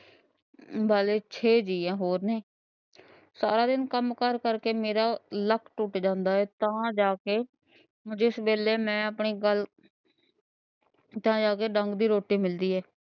ਵਾਲੇ ਛੇ ਜੀ ਹੋਰ ਨੇਂ। ਸਾਰੇ ਕੰਮ ਕਾਰ ਕਰਕੇ ਮੇਰਾ ਲੱਕ ਟੁੱਟ ਜਾਂਦਾ ਹੈ। ਤਾਂ ਜਾਕੇ ਜਿਸ ਵੇਲੇ ਮੈਂ ਆਪਨੇ ਘਰ ਤਾਂ ਜਾਕੇ ਡੰਗ ਦੀ ਰੋਟੀ ਮਿਲਦੀ ਹੈ।